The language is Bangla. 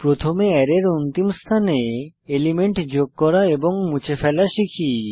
প্রথমে অ্যারের অন্তিম স্থানে এলিমেন্ট যোগ করা এবং মুছে ফেলা শিখি